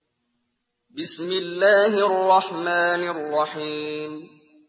بِسْمِ اللَّهِ الرَّحْمَٰنِ الرَّحِيمِ